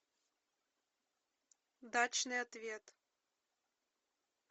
дачный ответ